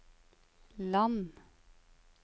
land